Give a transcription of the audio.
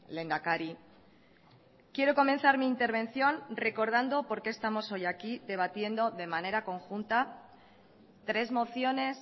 lehendakari quiero comenzar mi intervención recordando por qué estamos hoy aquí debatiendo de manera conjunta tres mociones